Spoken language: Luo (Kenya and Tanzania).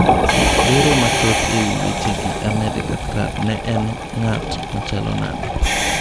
Lero mathoth ewii weche gi Ahmed Kathrad ne en ng'at machalo nade?